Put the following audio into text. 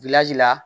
la